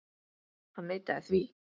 Hann neitaði því.